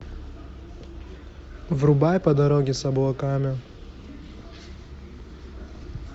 врубай по дороге с облаками